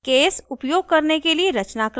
case उपयोग करने के लिए रचनाक्रम :